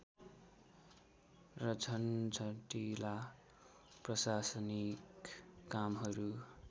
र झन्झटिला प्रशासनिक कामहरू